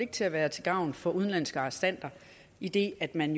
til at være til gavn for udenlandske arrestanter idet man